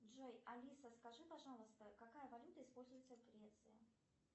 джой алиса скажи пожалуйста какая валюта используется в греции